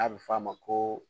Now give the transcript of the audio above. A bi f'a ma ko